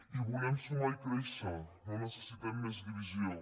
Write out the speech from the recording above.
i volem sumar i créixer no necessitem més divisió